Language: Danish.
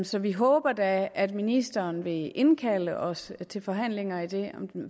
så vi håber da at ministeren vil indkalde os til forhandlinger